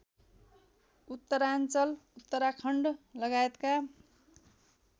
उत्तराञ्चल उत्तराखण्ड लगायतका